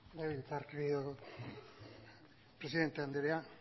legebiltzarkideok presidente andrea